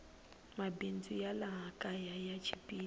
mabindzu ya laha kaya ya chipile